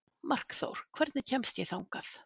Markþór, hvernig kemst ég þangað?